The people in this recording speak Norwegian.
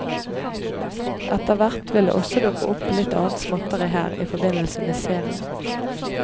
Etterhvert vil det også dukke opp litt annet småtteri her, i forbindelse med serien.